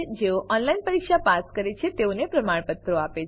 જેઓ ઓનલાઈન પરીક્ષા પાસ કરે છે તેઓને પ્રમાણપત્રો આપે છે